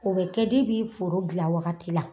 O be kɛ debi fooro gila wagati la